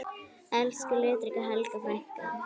Elsku litríka Helga frænka.